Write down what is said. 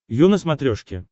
ю на смотрешке